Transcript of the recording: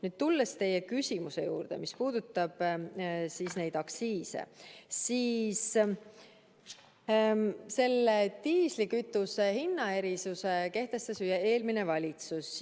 Nüüd tulles teie küsimuse juurde, mis puudutab aktsiise, siis selle diislikütuse hinnaerisuse kehtestas ju eelmine valitsus.